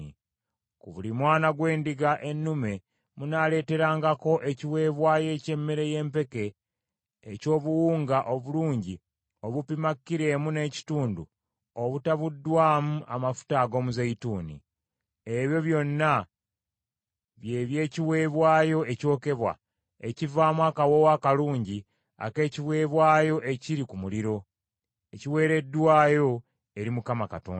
ku buli mwana gw’endiga ennume munaaleeterangako ekiweebwayo eky’emmere y’empeke eky’obuwunga obulungi obupima kilo emu n’ekitundu obutabuddwamu amafuta ag’omuzeeyituuni. Ebyo byonna bye by’ekiweebwayo ekyokebwa, ekivaamu akawoowo akalungi ak’ekiweebwayo ekiri ku muliro, ekiweereddwayo eri Mukama Katonda.